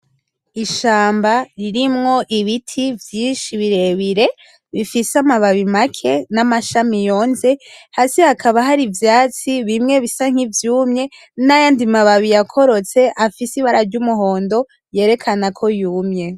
Ishamba ririmwo ibiti vyinshi birebire bifise amababi make n'amashami yonze hasi hakaba hari ivyatsi bimwe bisa nkivyumye n'ayandi ma babi yakorotse afise ibara ry'umuhondo yerekanako yumye.